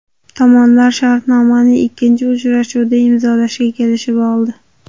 Tomonlar shartnomani ikkinchi uchrashuvda imzolashga kelishib oldi.